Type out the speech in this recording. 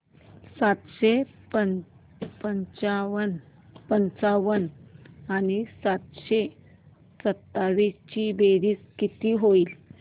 सातशे पंचावन्न आणि सातशे सत्तावीस ची बेरीज किती होईल